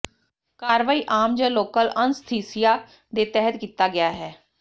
ਕਾਰਵਾਈ ਆਮ ਜ ਲੋਕਲ ਅਨੱਸਥੀਸੀਆ ਦੇ ਤਹਿਤ ਕੀਤਾ ਗਿਆ ਹੈ